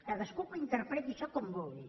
cadascú que ho interpreti això com vulgui